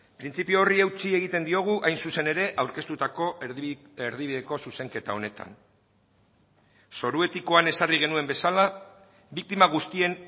printzipio horri eutsi egiten diogu hain zuzen ere aurkeztutako erdibideko zuzenketa honetan zoru etikoan ezarri genuen bezala biktima guztien